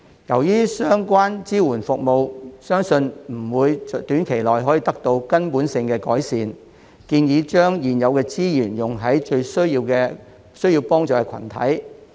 由於相關支援服務相信不會短期內可以得到根本性的改善，我建議把現有資源用在最需要幫助的群體。